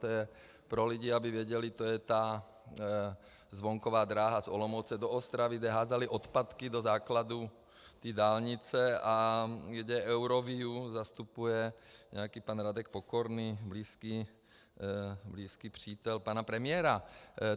To je pro lidi, aby věděli, to je ta zvonková dráha z Olomouce do Ostravy, kde házeli odpadky do základů té dálnice a kde Euroviu zastupuje nějaký pan Radek Pokorný, blízký přítel pana premiéra.